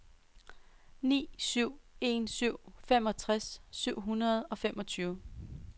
ni syv en syv femogtres syv hundrede og femogtyve